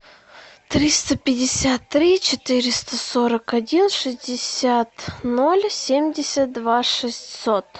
триста пятьдесят три четыреста сорок один шестьдесят ноль семьдесят два шестьсот